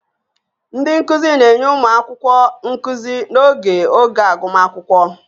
Ndị nkuzi na-enye ụmụ akwụkwọ nkuzi n'oge oge agụmakwụkwọ